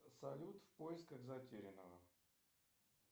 салют в поисках затерянного